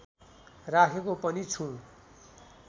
राखेको पनि छु